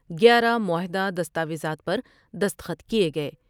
گیارہ معاہد ہ دستہ ویزات پر دستخط کئے گئے ۔